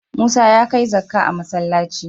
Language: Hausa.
Musa ya kai zakka a masallci.